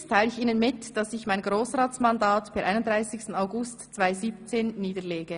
] Hiermit teile ich Ihnen mit, dass ich mein Grossratsmandat per 31. August 2017 niederlege.